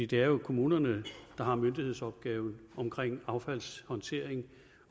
det er jo kommunerne der har myndighedsopgaven omkring affaldshåndtering